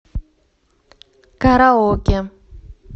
караоке